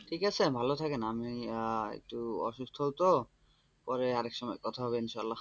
ঠিক আছে ভালো থাকেন আমি একটু অসুস্থ তো পরে আরেক সময় কথা হবে ইনশাল্লাহ,